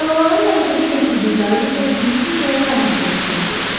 Dalğaların hərəkətə gətirdiyi qayığı isə getdikcə daha sürətlə üzürdü.